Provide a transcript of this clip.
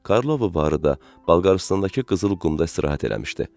Karlovo varı da Bolqarıstandakı qızıl qumda istirahət eləmişdi.